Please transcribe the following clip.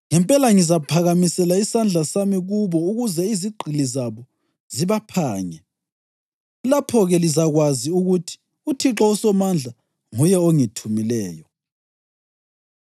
ngempela ngizaphakamisela isandla sami kubo ukuze izigqili zabo zibaphange. Lapho-ke lizakwazi ukuthi uThixo uSomandla nguye ongithumileyo.